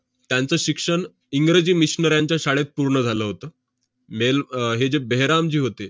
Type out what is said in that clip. त्यांचं शिक्षण इंग्रजी missionaries च्या शाळेत पूर्ण झालं होतं. मेल~ अह हे जे बेहरामजी होते,